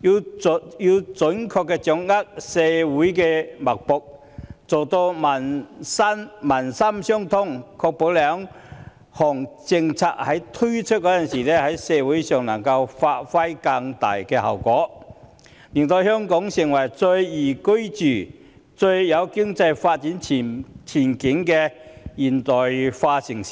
要準確掌握社會脈搏，做到民心相通，確保在推出兩項政策時，在社會上能夠發揮更大效果，令香港成為最宜居及最有經濟發展前景的現代化城市。